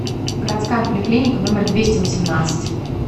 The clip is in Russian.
городская поликлиника номер двести восемнадцать